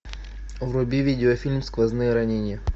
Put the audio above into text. вруби видеофильм сквозные ранения